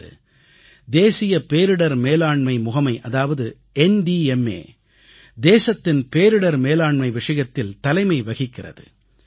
இன்று தேசிய பேரிடர் மேலாண்மை முகமை அதாவது ந்த்மா தேசத்தின் பேரிடர் மேலாண்மை விஷயத்தில் தலைமை வகிக்கிறது